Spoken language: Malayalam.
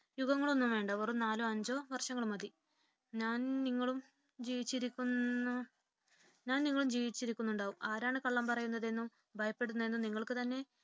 യുഗങ്ങൾ ഒന്നും വേണ്ട വെറും നാലോ അഞ്ചോ വർഷങ്ങൾ മതി. ഞാനും നിങ്ങളും ജീവിച്ചിരിക്കുന്നുണ്ടാവാം ആരാണ് കള്ളം പറയുന്നതെന്നും ഭയപ്പെടുന്നതെന്നും നിങ്ങൾക്കു തന്നെ